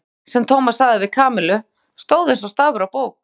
Allt, sem Tómas sagði við Kamillu, stóð eins og stafur á bók.